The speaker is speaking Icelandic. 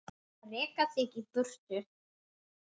Að reka þig í burtu!